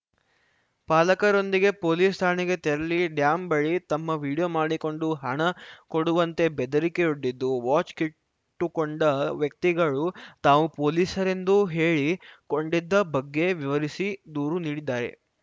ಪಾಲಕರೊಂದಿಗೆ police ಠಾಣೆಗೆ ತೆರಳಿ dam ಬಳಿ ತಮ್ಮ ವೀಡಿಯೋ ಮಾಡಿಕೊಂಡು ಹಣ ಕೊಡುವಂತೆ ಬೆದರಿಕೆಯೊಡ್ಡಿದ್ದು ವಾಚ್‌ ಕಿಟ್ಟುಕೊಂಡ ವ್ಯಕ್ತಿಗಳು ತಾವು ಪೊಲೀಸರೆಂದು ಹೇಳಿಕೊಂಡಿದ್ದ ಬಗ್ಗೆ ವಿವರಿಸಿ ದೂರು ನೀಡಿದ್ದಾರೆ